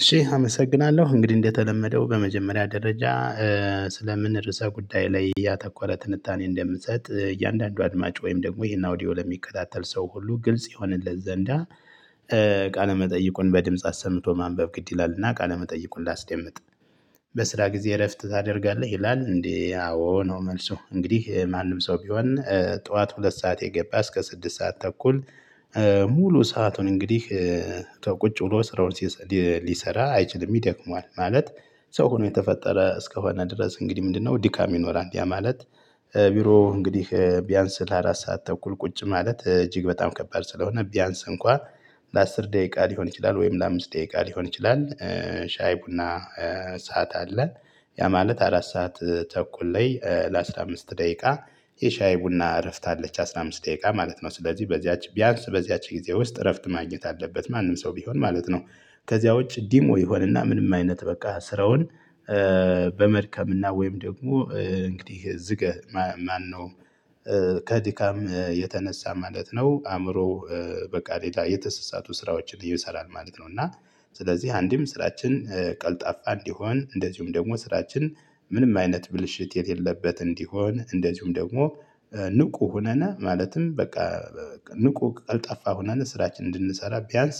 እሺ አመሰግናለሁ እንግዲህ እንደተለመደው በመጀመሪያ ደረጃ ስለምን ርዕሰ ጉዳይ ላይ ያተኮረ ትንታኔ እንደምሰጥ እያንዳንዱ አድማጭ ወይም ደግሞ ይሄን አውዲዮ ለሚከታተል ሰው ሁሉ ግልጽ ይሆንለት ዘንዳ። መጠይቁን በድምጽ አሰምቶ ማንበብ ግድ ይላልና ቃለ መጠይቁን ላስደምጥ። በስራ ጊዜ እረፍት ታደርጋለህ ይላል እንዴ? አዎ ነው። መልሱ እንግዲህ ማንም ሰው ቢሆን ጠዋት ሁለት ሰዓት የገባ እስከ ስድስት ሰዓት ተኩል። ሙሉ ሰአቱን እንግዲህ ቁጭ ብሎ ስራውን ሊሰራ አይችልም ይደክመዋል። ማለት ሰው ሁኖ የተፈጠረ እስከሆነ ድረስ እንግዲህ ምንድነው ድካም ይኖራል። እንዲህ ያ ማለት ቢሮው እንግዲህ ቢያንስ ለአራት ሰዓት ተኩል ቁጭ ማለት እጅግ በጣም ከባድ ስለሆነ ቢያንስ እንኳ ለአስር ደቂቃ ሊሆን ይችላል ወይም ለአምስት ደቂቃ ሊሆን ይችላል። ሻይ ቡና ሰዓት አለ። ያ ማለት አራት ሰዓት ተኩል ላይ ለአስራ አምስት ደቂቃ የሻይ ቡና እረፍት አለች አስራ አምስት ደቂቃ ማለት ነው። ስለዚህ በዚያች ቢያንስ በዚያች ጊዜ ውስጥ እረፍት ማግኘት አለበት ማንም ሰው ቢሆን ማለት ነው። ከዚያ ውጭ ዲሞ ይሆንና ምንም አይነት በቃ ስራውን በመድከም እና ወይም ደግሞ እንግዲህ ዝገህ ማነው ከድካም የተነሳ ማለት ነው። አዕምሮው በቃ ሌላ የተሰሳቱ ስራዎችን ይሰራል ማለት ነው። እና ስለዚህ አንድም ስራችን ቀልጣፋ እንዲሆን እንደዚሁም ደግሞ ስራችን ምንም አይነት ብልሽት የሌለበት እንዲሆን እንደዚሁም ደግሞ ንቁ ሆነን ማለትም በቃ ንቁ ቀልጠፋ ሆነን ስራችን እንድንሰራ ቢያንስ